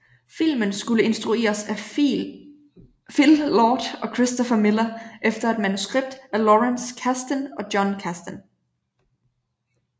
Filmen skulle instrueres af Phil Lord og Christopher Miller efter et manuskript af Lawrence Kasdan og Jon Kasdan